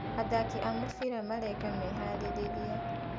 Athaki a mũbira mareka meharĩrĩria.